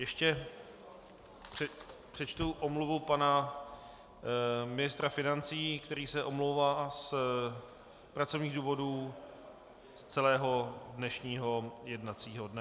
Ještě přečtu omluvu pana ministra financí, který se omlouvá z pracovních důvodů z celého dnešního jednacího dne.